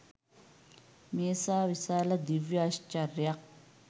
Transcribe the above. මේසා විශාල දිව්‍ය ඓශ්චර්යයක්